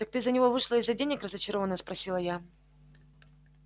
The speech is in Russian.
так ты за него вышла из-за денег разочаровано спросила я